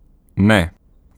Ne.